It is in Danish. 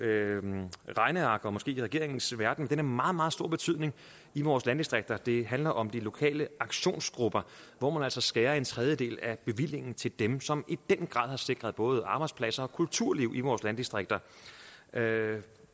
økonomernes regneark og måske i regeringens verden men som har meget meget stor betydning i vores landdistrikter det handler om de lokale aktionsgrupper hvor man altså skærer en tredjedel af bevillingen til dem som i den grad har sikret både arbejdspladser og kulturliv i vores landdistrikter